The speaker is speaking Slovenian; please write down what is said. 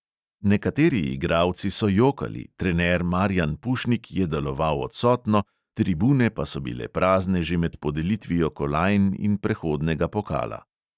Nekateri igralci so jokali, trener marijan pušnik je deloval odsotno, tribune pa so bile prazne že med podelitvijo kolajn in prehodnega pokala.